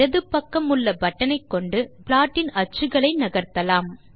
இடது பக்கம் உள்ள பட்டன் ஐக்கொண்டு ப்லாட்டின் அச்சுக்களை நகர்த்தலாம்